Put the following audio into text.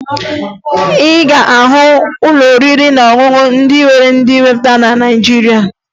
Ị ga-ahụ ụlọ oriri na ọṅụṅụ ndị nwere ndị weta na Naịjirịa